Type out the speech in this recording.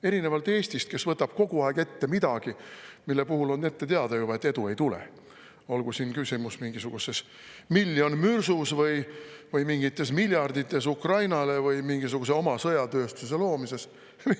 Erinevalt Eestist, kes võtab kogu aeg ette midagi, mille puhul on juba ette teada, et edu ei tule, olgu küsimus miljonis mürsus või mingites miljardites Ukrainale või mingisuguse oma sõjatööstuse loomises.